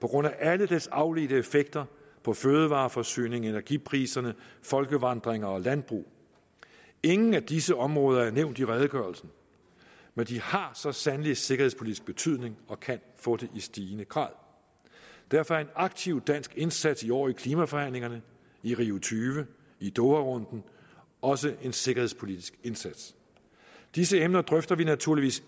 på grund af alle dets afledte effekter på fødevareforsyning energipriser folkevandringer og landbrug ingen af disse områder er nævnt i redegørelsen men de har så sandelig sikkerhedspolitisk betydning og kan få det i stigende grad derfor er en aktiv dansk indsats i år i klimaforhandlingerne i rio tyve i doharunden også en sikkerhedspolitisk indsats disse emner drøfter vi naturligvis